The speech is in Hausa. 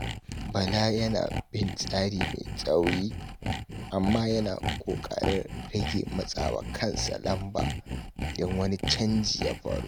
Bala yana bin tsari mai tsauri, amma yana kokarin rage matsa wa kansa lamba idan wani canji ya faru.